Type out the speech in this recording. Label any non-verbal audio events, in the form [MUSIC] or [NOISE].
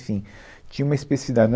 Enfim, tinha uma [UNINTELLIGIBLE]